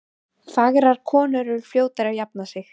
Fagrar konur eru fljótari að jafna sig.